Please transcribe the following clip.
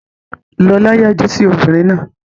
Lọlá yájú sí obìnrin náà.